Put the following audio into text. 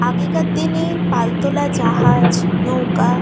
আগেকার দিনে পালতোলা জাহাজ নৌকা--